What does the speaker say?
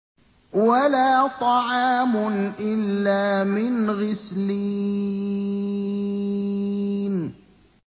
وَلَا طَعَامٌ إِلَّا مِنْ غِسْلِينٍ